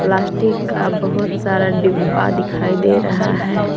Plastic का बहोत सारा डिब्बा दिखाई दे रहा है।